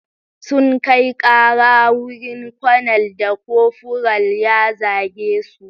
Sun kai ƙara wurin konel da kofural ya zage su.